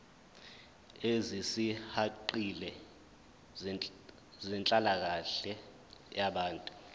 ezisihaqile zenhlalakahle yabantu